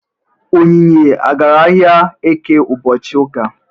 Onyinye agara ahịa Eke ụbọchị ụka?